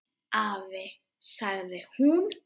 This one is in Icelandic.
Afi, sagði hún.